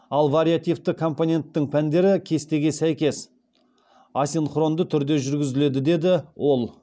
ал вариативті компоненттің пәндері кестеге сәйкес асинхронды түрде жүргізіледі деді ол